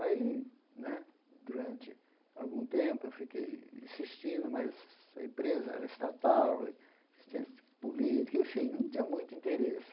Aí né, durante algum tempo, eu fiquei insistindo, mas a empresa era estatal e, política, enfim, não tinha muito interesse.